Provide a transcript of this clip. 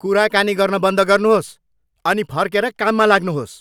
कुराकानी गर्न बन्द गर्नुहोस् अनि फर्केर काममा लाग्नुहोस्!